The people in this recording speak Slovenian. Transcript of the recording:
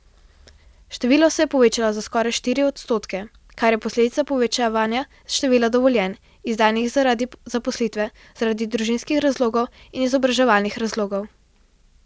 Število se je povečalo za skoraj štiri odstotke, kar je posledica povečanja števila dovoljenj, izdanih zaradi zaposlitve, zaradi družinskih razlogov in izobraževalnih razlogov.